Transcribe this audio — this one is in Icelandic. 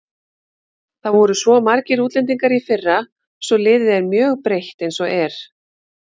Það voru svo margir útlendingar í fyrra svo liðið er mjög breytt eins og er.